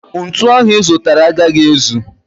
Ntu ahu I zutara a gaghi ezu.